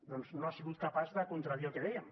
doncs no ha sigut capaç de contradir el que dèiem